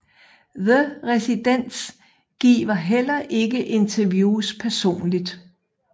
The Residents giver heller ikke interviews personligt